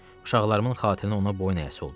Uşaqlarımın xatirinə ona boyun əyəsi oldu.